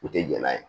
U tɛ jɛn n'a ye